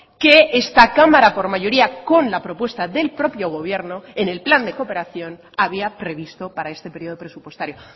que esta cámara por mayoría con la propuesta del propio gobierno en el plan de cooperación había previsto para este periodo presupuestario